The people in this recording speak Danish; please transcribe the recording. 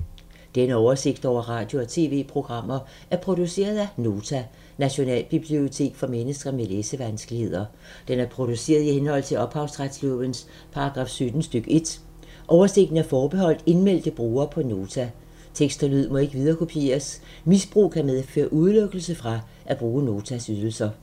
Denne oversigt over radio og TV-programmer er produceret af Nota, Nationalbibliotek for mennesker med læsevanskeligheder. Den er produceret i henhold til ophavsretslovens paragraf 17 stk. 1. Oversigten er forbeholdt indmeldte brugere på Nota. Tekst og lyd må ikke viderekopieres. Misbrug kan medføre udelukkelse fra at bruge Notas ydelser.